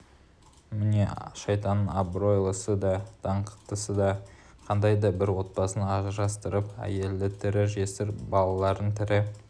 міне шайтанның абыройлысы да даңқтысы да қандай да бір отбасын ажырастырып әйелді тірі жесір балаларын тірі